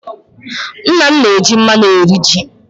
Nna m na-eji mmanụ eri ji.